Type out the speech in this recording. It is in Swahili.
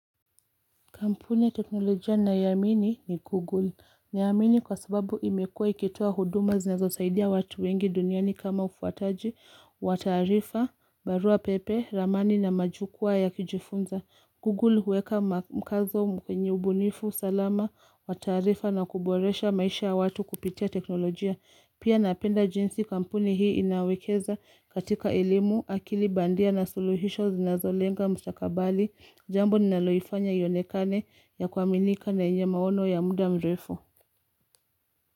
Kampuni ya teknolojia ninayoiamini ni Google. Na iamini kwa sababu imekua ikitoa huduma zinazo saidia watu wengi duniani kama ufuataji, wataarifa, barua pepe, ramani na majukwaa ya kujifunza. Google huweka mkazo menye ubunifu salama, wataarifa na kuboresha maisha ya watu kupitia teknolojia. Pia napenda jinsi kampuni hii inawekeza katika elimu, akili bandia na suluhisho zinazo lenga mstakabali, Jambo ninaloifanya ionekane ya kuaminika na yenye maono ya muda mrefu.